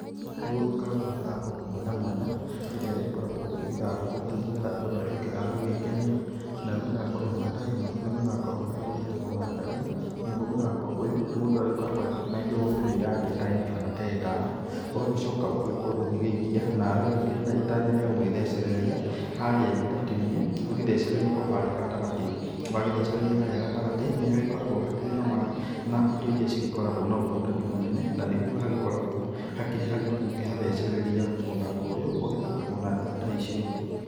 Nĩ gũgĩkoragwo mĩthako mwanya mwanya ĩrĩa ĩgĩgĩkoragwo ĩgĩthakwo nĩ getha andũ matuĩke agũgĩkenia. Nayo mĩthako ĩmwe ta ĩno nĩ mũthako ũrĩa ũgĩtagwo wa ndati, naguo mũthako ũyũ mũndũ agĩkoragwo agĩkineo mĩgwĩ yake ta ĩna kana ta ĩtano ũgagĩcoka ũgakorwo ũgĩgĩikia, nawe ũkĩrĩ na itanya rĩa gũgĩthecereri harĩa ndati-inĩ , ũgĩthecererie o harĩa gatagatĩ. Wagĩgĩthecereria harĩa gatagatĩ nĩ hakoragwo hakĩrĩ na indo iria cigĩkoragwo na ũhotani mũnene. Na nĩguo hagĩkoragwo hakĩrĩ haritu gũkĩhathcereria, mũthako ũyũ ũgĩthakagwo na njĩra ta icio.